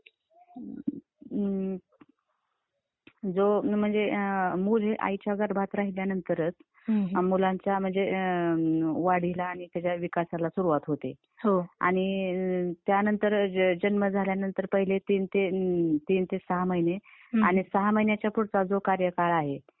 हम्म, जो .. म्हणजे .. मुल आईच्या गर्भात राहिल्यानंतर, मुलांच्या, म्हणजे वाढीला आणि त्याच्या विकासाला सुरूवात होते आणि त्यानंतर , म्हणजे जन्म झाल्यानंतर ते तीन ते सहा महीने आणि सहा महिन्याच्या पुढचा जो कार्यकाळ आहे.